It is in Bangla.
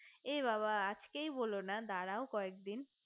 এ বাবা আজকেই বোলো না দাড়াও কয়েক দিন